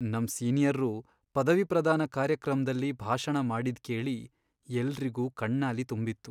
ನಮ್ ಸೀನಿಯರ್ರು ಪದವಿಪ್ರದಾನ ಕಾರ್ಯಕ್ರಮ್ದಲ್ಲಿ ಭಾಷಣ ಮಾಡಿದ್ ಕೇಳಿ ಎಲ್ರಿಗೂ ಕಣ್ಣಾಲಿ ತುಂಬಿತ್ತು.